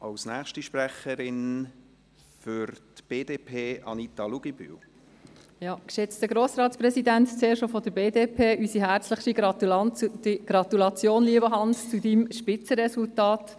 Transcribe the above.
Geschätzter Grossratspräsident, lieber Hannes Zaugg, zuerst auch seitens der BDP unsere herzlichste Gratulation zu Ihrem Spitzenresultat.